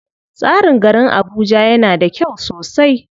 Tsarin garin Abuja yana da kyau sosai.